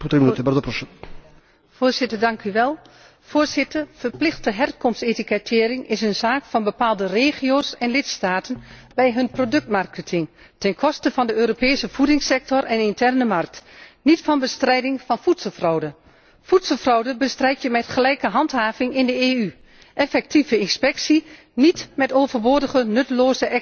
Voorzitter, verplichte herkomstetikettering is een zaak van bepaalde regio's en lidstaten bij hun productmarketing, ten koste van de Europese voedingssector en interne markt, niet van bestrijding van voedselfraude. Voedselfraude bestrijd je met gelijke handhaving in de EU, effectieve inspectie, niet met overbodige, nutteloze extra bureaucratie.